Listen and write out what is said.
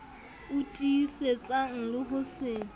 o tiisetsang le ho se